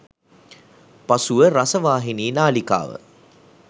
පසුව රසවාහිනී නාලිකාව